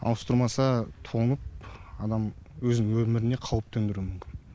ауыстырмаса тоңып адам өзінің өміріне қауіп төндіруі мүмкін